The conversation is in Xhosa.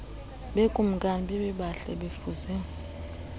bekumkani babebahle befuze